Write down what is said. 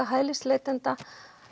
hælisleitenda